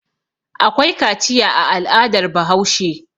Akwai kaciya a al'adar Bahaushe.